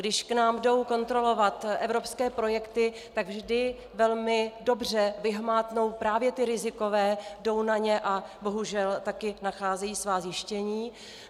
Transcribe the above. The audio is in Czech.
Když k nám jdou kontrolovat evropské projekty, tak vždy velmi dobře vyhmátnou právě ty rizikové, jdou na ně a bohužel taky nacházejí svá zjištění.